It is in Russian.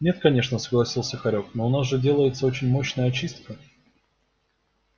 нет конечно согласился хорёк но у нас же делается очень мощная очистка